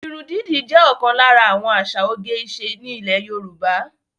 Ìrún didì jẹ́ òkan lára àwọn àsà òge-ìṣe ni Ilè Yorùbá.